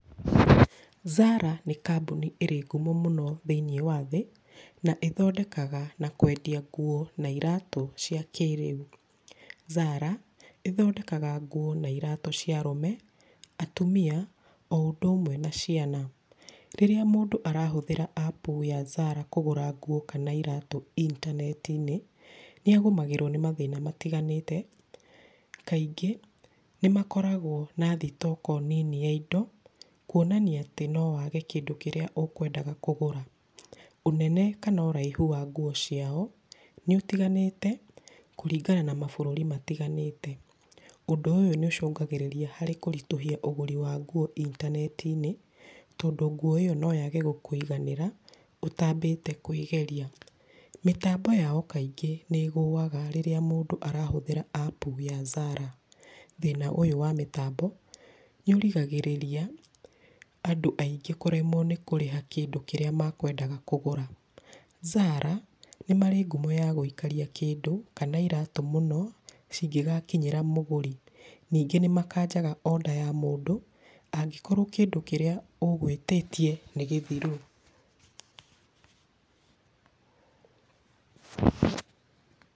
Zara nĩ kambuni ĩrĩ ngumo mũno thĩiniĩ wa thĩ, na ĩthondekaga na kwendia nguo na iratũ cia kĩrĩu. Zara ĩthondekaga nguo na iratũ cia arũme, atumia o ũndũ ũmwe na ciana. Rĩrĩa mũndũ arahũthĩra app ya Zara kũgũra nguo kana iratũ intaneti-inĩ, nĩagũmagĩrwo nĩ mathĩna matiganĩte, kaingĩ nĩmakoragwo na thitoko nini ya indo, kuonania atĩ no wage kĩndũ kĩrĩa ũkwendaga kũgũra. Ũnene kana ũraihu wa nguo ciao nĩũtiganĩte kũringana na mabũrũri matiganĩte. Ũndũ ũyũ nĩũcũngagĩrĩria harĩ kũritũhia ũgũri wa nguo intaneti-inĩ, tondũ nguo ĩyo noyage gũkũiganĩra ũtambĩte kwĩgeria. Mĩtambo yao kaingĩ nĩ ĩgũaga rĩrĩa mũndũ arahũthĩra app ya Zara. Thĩna ũyũ wa mĩtambo nĩ ũrigagĩrĩria andũ aingĩ kũremwo nĩ kũrĩha kĩndũ kĩrĩa makwendaga kũgũra. Zara nĩ marĩ ngumo ya gwĩikaria kĩndũ kana iratũ mũno cingĩgakinyĩra mũgũri. Ningĩ nĩmakanjaga order ya mũndũ angĩkorwo kĩndũ kĩrĩa ũgwĩtĩtie nĩ gĩthiru.